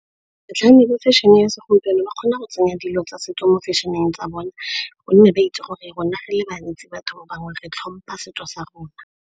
Batlhami le fashion-e ya segompieno ba kgona go tsenya dilo tsa setso mo di-fashion-eng tsa bona, gonne ba itse gore rona re le bantsi batho bangwe re tlhompha setso sa rona.